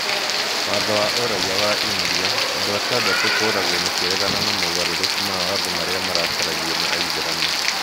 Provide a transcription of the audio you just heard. Watho wa Ũraiya wa India: Andũ atandatũ kũũragwo makĩregana na mogarũrũku ma watho marĩa marakaragio nĩ Aithĩramu